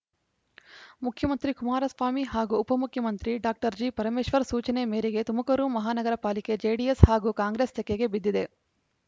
ಮುಖ್ಯಮಂತ್ರಿ ಕುಮಾರಸ್ವಾಮಿ ಹಾಗೂ ಉಪಮುಖ್ಯಮಂತ್ರಿ ಡಾಕ್ಟರ್ ಜಿಪರಮೇಶ್ವರ್‌ ಸೂಚನೆ ಮೇರೆಗೆ ತುಮಕೂರು ಮಹಾನಗರ ಪಾಲಿಕೆ ಜೆಡಿಎಸ್‌ ಹಾಗೂ ಕಾಂಗ್ರೆಸ್‌ ತೆಕ್ಕೆಗೆ ಬಿದ್ದಿದೆ